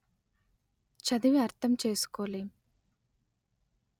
చదివి అర్ధం చేసుకోలేం